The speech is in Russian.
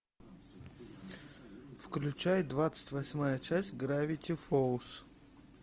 включай двадцать восьмая часть гравити фолз